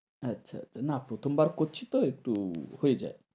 আচ্ছা না প্রথমবার করছি তো একটু হয়ে যায়।